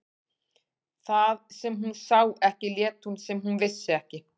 Það sem hún sá ekki lét hún sem hún vissi ekki.